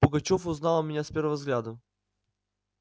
пугачёв узнал меня с первого взгляду